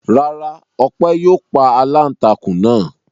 Rárá, Ọpẹ́ yóò pa aláǹtakùn náà.